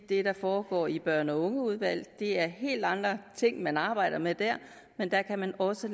det der foregår i børn og unge udvalg det er helt andre ting man arbejder med der men der kan man også